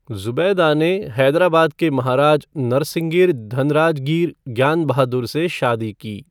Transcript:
ज़ुबैदा ने हैदराबाद के महाराज नरसिंगिर धनराजगीर ज्ञान बहादुर से शादी की।